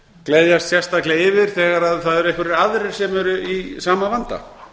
gleðjast sérstaklega yfir þegar það eru einhverjir aðrir sem eru í sama vanda